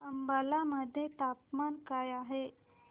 अंबाला मध्ये तापमान काय आहे